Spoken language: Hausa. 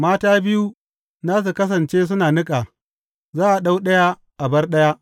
Mata biyu za su kasance suna niƙa; za a ɗau ɗaya a bar ɗaya.